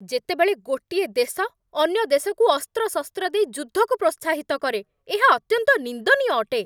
ଯେତେବେଳେ ଗୋଟିଏ ଦେଶ ଅନ୍ୟ ଦେଶକୁ ଅସ୍ତ୍ରଶସ୍ତ୍ର ଦେଇ ଯୁଦ୍ଧକୁ ପ୍ରୋତ୍ସାହିତ କରେ, ଏହା ଅତ୍ୟନ୍ତ ନିନ୍ଦନୀୟ ଅଟେ।